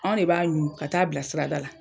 Anw de b'a ɲu ka taa'a bila sirada la.